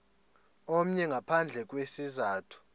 omnye ngaphandle kwesizathu